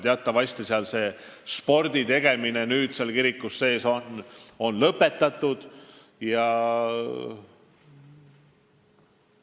Teatavasti on sporditegemine nüüd seal kirikus lõpetatud.